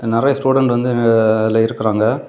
நிறைய ஸ்டூடண்ட் வந்து ஆ அதுல இருக்குறாங்க.